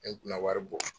Ne kunna wari bɔ